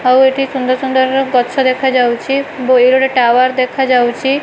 ଏଇଠି ଆପଣଙ୍କୁ helicopter dress ଆଉ ଅନିଅନ --